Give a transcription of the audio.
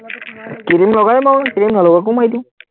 cream লগাই য়ো মাৰো, ক্ৰীম নলগোৱাকেও মাৰি দিওঁ